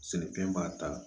Sɛnɛfɛn b'a ta